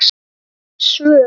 Tengd svör